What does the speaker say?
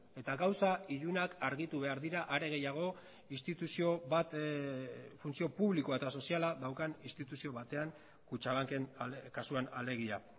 eta gauza ilunak argitu behar dira are gehiago instituzio bat funtzio publiko eta soziala daukan instituzio batean kutxabanken kasuan alegia